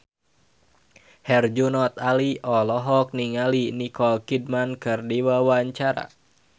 Herjunot Ali olohok ningali Nicole Kidman keur diwawancara